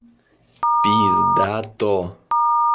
пиздато